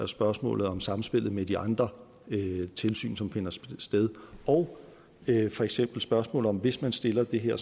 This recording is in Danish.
spørgsmålet om samspillet med de andre tilsyn som finder sted og for eksempel spørgsmålet om at hvis man stiller det her